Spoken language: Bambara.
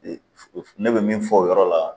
ne bɛ min fɔ o yɔrɔ la